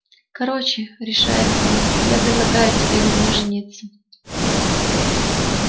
короче решается он я предлагаю тебе на мне жениться